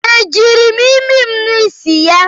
E jiri m imi m ṅụọ isi ya?